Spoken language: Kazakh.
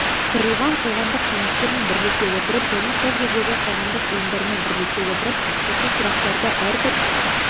құрылған қоғамдық кеңестермен бірлесе отырып және сол жердегі қоғамдық ұйымдармен бірлесе отырып осы сұрақтарды әрбір